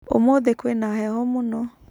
ũmũthĩ kwĩna heho mũno.